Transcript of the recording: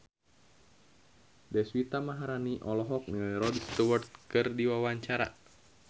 Deswita Maharani olohok ningali Rod Stewart keur diwawancara